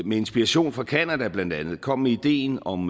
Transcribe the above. med inspiration fra canada blandt andet kom med ideen om